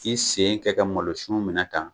K'i sen ka ka malosun minɛ tan